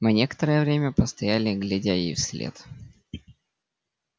мы некоторое время постояли глядя ей вслед